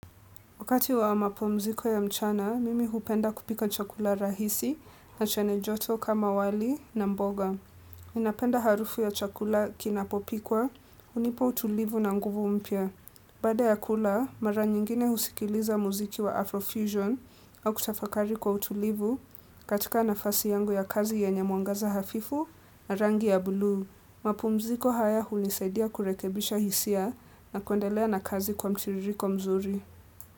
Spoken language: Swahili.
Wakati wa mapomziko ya mchana, mimi hupenda kupika chakula rahisi na chanejoto kama wali na mboga. Minapenda harufu ya chakula kinapopikwa, unipo utulivu na nguvu mpia. Bada ya kula, mara nyingine husikiliza muziki wa Afrofusion au kutafakari kwa utulivu katika nafasi yangu ya kazi yenye muangaza hafifu na rangi ya buluu. Mapomziko haya hulisaidia kurekebisha hisia na kuendelea na kazi kwa mchiririko mzuri.